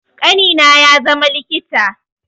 Ƙanina ya zama likita